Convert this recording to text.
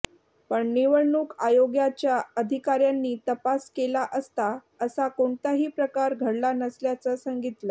पण निवडणूक आयोगाच्या अधिकाऱ्यांनी तपास केला असता असा कोणताही प्रकार घडला नसल्याचं सांगितलं